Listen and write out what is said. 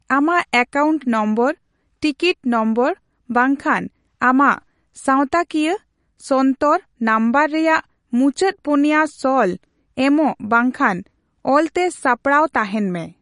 ᱟᱢᱟᱜ account number, ticket number ᱵᱟᱝᱠᱷᱟᱱ ᱟᱢᱟᱜ ᱥᱟᱣᱛᱟᱠᱤᱭᱟ, ᱥᱚᱱᱛᱚᱨ ᱱᱟᱝᱵᱚᱨ ᱨᱮᱭᱟᱜ ᱢᱩᱪᱟᱹᱫ ᱯᱩᱱᱭᱟᱹ ᱥᱚᱞ ᱮᱢᱚᱜ ᱵᱟᱝᱠᱷᱟᱱ ᱚᱞᱛᱮ ᱥᱟᱯᱲᱟᱣ ᱛᱟᱦᱮᱸᱱ ᱢᱮ ᱾